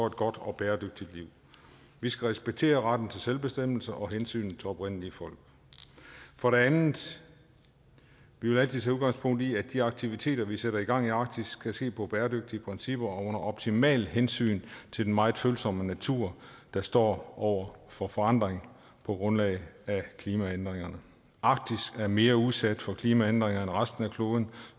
et godt og bæredygtigt liv vi skal respektere retten til selvbestemmelse og hensynet til oprindelige folk for det andet vi vil altid tage udgangspunkt i at de aktiviteter vi sætter i gang i arktis skal se på bæredygtige principper og under optimalt hensyn til den meget følsomme natur der står over for forandring på grund af klimaændringerne arktis er mere udsat for klimaændringer end resten af kloden